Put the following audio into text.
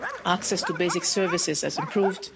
Access to basic services has improved.